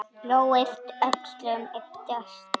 Lóa yppti öxlum.